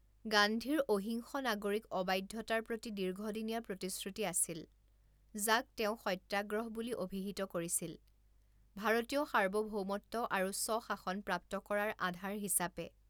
গান্ধীৰ অহিংস নাগৰিক অবাধ্যতাৰ প্ৰতি দীৰ্ঘদিনীয়া প্ৰতিশ্ৰুতি আছিল, যাক তেওঁ সত্যাগ্ৰহ বুলি অভিহিত কৰিছিল, ভাৰতীয় সাৰ্বভৌমত্ব আৰু স্বশাসন প্ৰাপ্ত কৰাৰ আধাৰ হিচাপে।